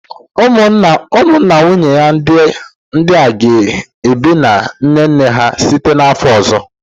Ụmụnna nwanyị ndị a ga-ebi na nne nne ha site n'afọ ọzọ